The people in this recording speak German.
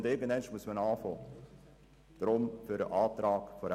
Irgendeinmal muss man damit beginnen.